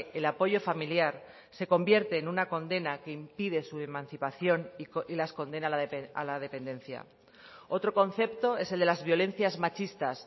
el apoyo familiar se convierte en una condena que impide su emancipación y las condena a la dependencia otro concepto es el de las violencias machistas